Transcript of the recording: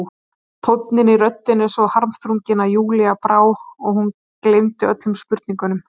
Tónninn í röddinni svo harmþrunginn að Júlíu brá og hún gleymdi öllum spurningum.